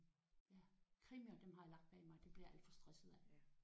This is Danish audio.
Krimier dem har jeg lagt bag mig. Dem bliver jeg alt for stresset af